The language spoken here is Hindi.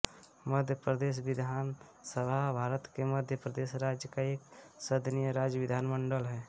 मध्य प्रदेश विधान सभा भारत में मध्य प्रदेश राज्य का एकसदनीय राज्य विधानमंडल है